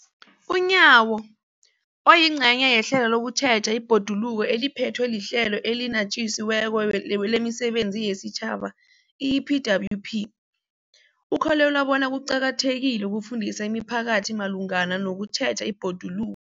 UNyawo, oyingcenye yehlelo lokutjheja ibhoduluko eliphethwe liHlelo eliNatjisi weko lemiSebenzi yesiTjhaba, i-EPWP, ukholelwa bona kuqakathekile ukufundisa imiphakathi malungana nokutjheja ibhoduluko.